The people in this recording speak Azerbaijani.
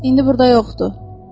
İndi burda yoxdur.